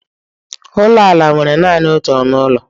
Ụlọ ala nwere naanị otu ọnụ ụlọ.